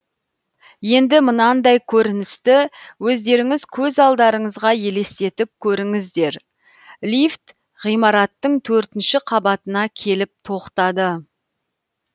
енді мынандай көріністі өздеріңіз көз алдарыңызға елестетіп көріңіздер лифт ғимараттың төртінші қабатына келіп тоқтады